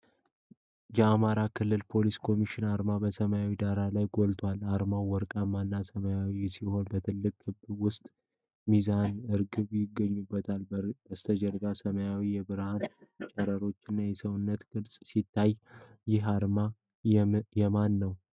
የአማራ ክልል ፖሊስ ኮሚሽን አርማ በሰማያዊ ዳራ ላይ ጎልቶ አሉ። አርማው ወርቃማ እና ሰማያዊ ሲሆን፣ በትልቅ ክብ ውስጥ ሚዛንና ርግብ ይገኙበታል። ከበስተጀርባ ሰማያዊ የብርሃን ጨረሮችና የሰውነት ቅርጽ ሲታዩ፣ ይህ አርማ የማን ነው?